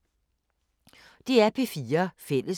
DR P4 Fælles